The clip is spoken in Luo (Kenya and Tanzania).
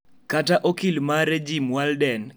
Kata okil mare Jim Walden, kia kama jal ma otiyogo oponde.